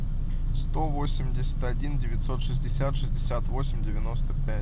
сто восемьдесят один девятьсот шестьдесят шестьдесят восемь девяносто пять